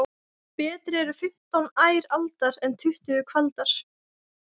Betri eru fimmtán ær aldar en tuttugu kvaldar.